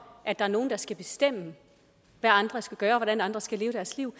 at der er nogen der skal bestemme hvad andre skal gøre og hvordan andre skal leve deres liv